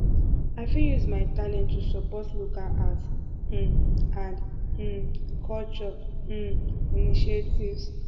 i fit use my talents to support local arts um and um culture um initiatives